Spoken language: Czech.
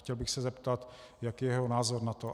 Chtěl bych se zeptat, jaký je jeho názor na to.